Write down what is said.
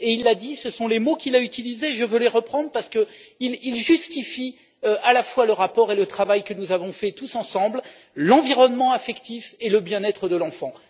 Il l'a dit, ce sont les mots qu'il a utilisés, et je veux les reprendre parce qu'ils justifient à la fois le rapport et le travail que nous avons fait tous ensemble, l'environnement affectif et le bien être de l'enfant.